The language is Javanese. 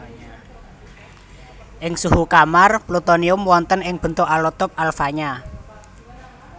Ing suhu kamar plutonium wonten ing bentuk alotop alfanya